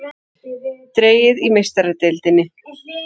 Dregið í Meistaradeildinni